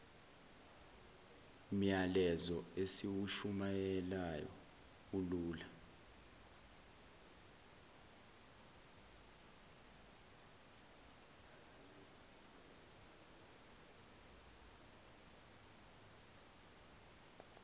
myalezo esiwushumayelayo ulula